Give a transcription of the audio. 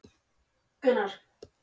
Ég hefi gaman af að glíma við samhverfu.